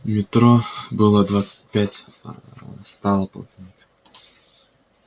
метро было двадцать пять а стало полтинник